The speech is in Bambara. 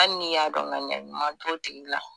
Ali ni y'a dɔn ɲaniya ɲuman t'o tigi la.